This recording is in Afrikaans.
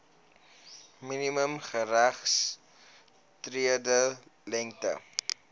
minimum geregistreerde lengte